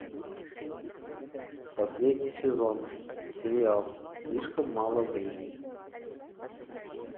последний сезон сериал слишком мало времени